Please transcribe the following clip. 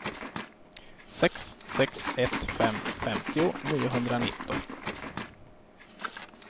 sex sex ett fem femtio niohundranitton